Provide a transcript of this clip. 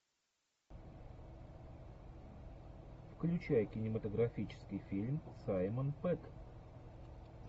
включай кинематографический фильм саймон пегг